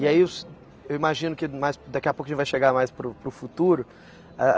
E aí os eu imagino que mais daqui a pouco a gente vai chegar mais para o para o futuro, eh.